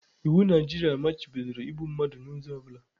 Iwu Naijiria machibidoro igbu mmadụ n'ụzọ ọ bụla